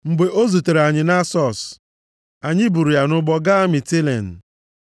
Mgbe o zutere anyị nʼAsọs, anyị buru ya nʼụgbọ gaa Mitilen.